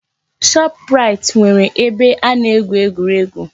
Shoprait nwere ebe a na-egwu egwuregwu.